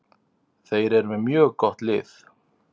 Þeir eru með mjög gott lið.